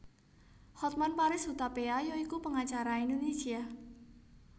Hotman Paris Hutapea ya iku pengacara Indonesia